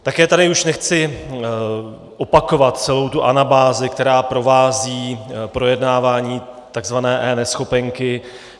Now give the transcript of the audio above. Také tady už nechci opakovat celou tu anabázi, která provází projednávání tzv. eNeschopenky.